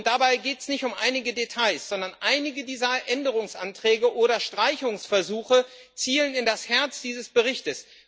Dabei geht es nicht um einige Details, sondern einige dieser Änderungsanträge oder Streichungsversuche zielen in das Herz dieses Berichts.